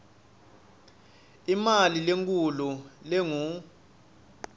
imali lenkhulu lengur